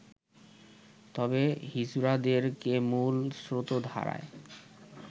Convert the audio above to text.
তবে হিজড়াদেরকে মূল শ্রোতধারায়